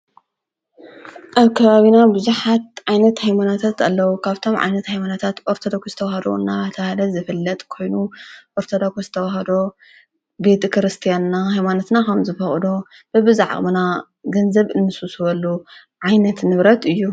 ኣብ ከባቢና ብዙኃት ዓይነት ኣይሞናታት ኣለዉ ካብቶም ዓይነት ኣይሞናታት ወርተዶኹ ዝተውሃዶ እና ተሃደት ዝፈለጥ ኮይኑ ወርተ ዳኹስተዉሃዶ ቤጥ ክርስቲያንና ሕይዋነትና ሆም ዝፈቕዶ ብብዛዕቕምና ገንዘብ እንሱ ስበሉ ዓይነት ንብረት እዩ።